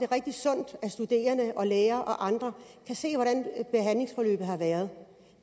rigtig sundt at studerende læger og andre kan se hvordan behandlingsforløbet har været